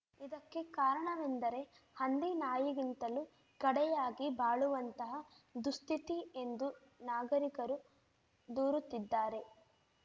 ಇದಕ್ಕೆ ಕಾರಣವೆಂದರೆ ಹಂದಿ ನಾಯಿಗಿಂತಲೂ ಕಡೆಯಾಗಿ ಬಾಳುವಂತಹ ದುಸ್ಥಿತಿ ಎಂದು ನಾಗರಿಕರು ದೂರುತ್ತಿದ್ದಾರೆ